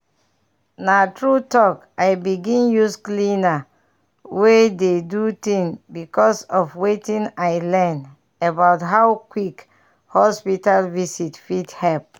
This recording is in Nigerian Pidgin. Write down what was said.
na true talk i begin use cleaner way do things because of wetin i learn about how quick hospital visit fit help.